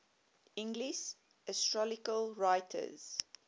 english astrological writers